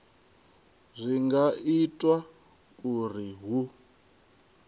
zwi nga itwa uri hu